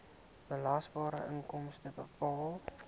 belasbare inkomste bepaal